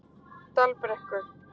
Dalbrekku